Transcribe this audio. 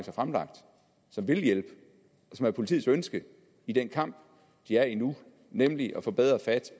har fremlagt og som vil hjælpe og som er politiets ønske i den kamp de er i nu nemlig at få bedre fat